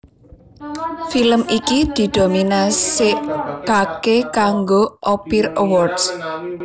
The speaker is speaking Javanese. Film iki dinominasèkaké kanggo Ophir Awards